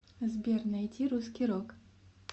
сбер найти русский рок